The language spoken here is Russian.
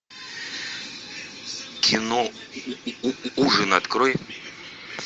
кино ужин открой